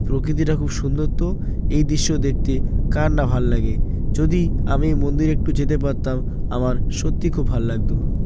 প্রকৃতিটা খুব সুন্দর তো এই দৃশ্য দেখতে কার না ভালো লাগে। যদি আমি মন্দির একটু যেতে পারতাম আমার সত্যি খুব ভালো লাগতো।